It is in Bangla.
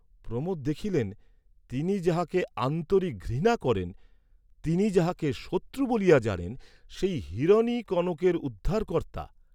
প্রমোদ দেখিলেন তিনি যাহাকে আন্তরিক ঘৃণা করেন, তিনি যাহাকে শত্রু বলিয়া জানেন সেই হিরণই কনকের উদ্ধারকর্ত্তা।